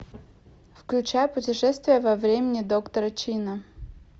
включай путешествие во времени доктора чина